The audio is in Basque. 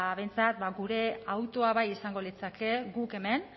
behintzat gure hautua bai izango litzateke guk hemen